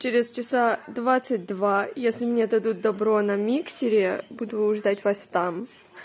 через часа двадцать два если мне дадут добро на миксере буду ждать вас там